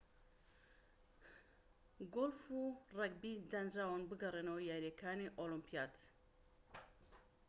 گۆلف و رەگبی دانراون بگەڕێنەوە یاریەکانی ئۆلۆمپیاد